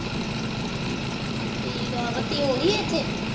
ਠੀਕ ਅ ਬੱਤੀ ਆਉਂਦੇ ਇੱਥੇ